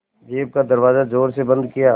jeep का दरवाज़ा ज़ोर से बंद किया